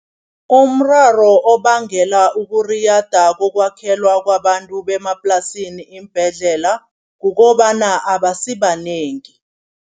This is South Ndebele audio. Umraro obangelwa ukuriyada kokwakhelwa kwabantu bemaplasini iimbhedlela, kukobana abasibanengi.